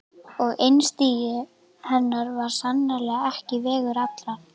Og einstigi hennar var sannarlega ekki vegur allra.